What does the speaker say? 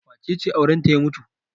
Wace ce aurenta ya mutu?